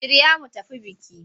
Shirya mu tafi biki!